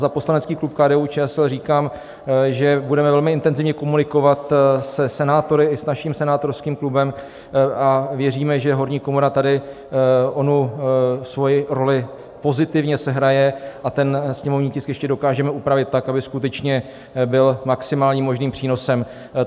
Za poslanecký klub KDU-ČSL říkám, že budeme velmi intenzivně komunikovat se senátory i s naším senátorským klubem a věříme, že horní komora tady onu svoji roli pozitivně sehraje a ten sněmovní tisk ještě dokážeme upravit tak, aby skutečně byl maximálním možným přínosem.